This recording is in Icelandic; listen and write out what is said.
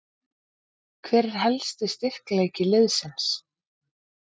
Hver er helsti styrkleiki liðsins?